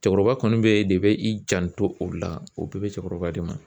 Cɛkɔrɔba kɔni bɛ de bɛ i janto o la o bɛɛ bɛ cɛkɔrɔba de ma